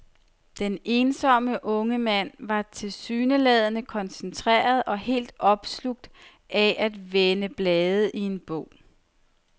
Den ensomme unge mand var tilsyneladende koncentreret og helt opslugt af at vende blade i en bog.